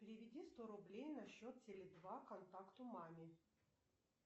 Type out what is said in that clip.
переведи сто рублей на счет теле два контакту маме